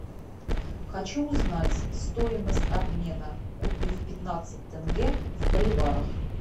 хочу узнать стоимость обмена купив пятнадцать тенге в боливарах